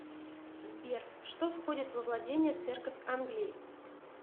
сбер что входит во владения церковь англии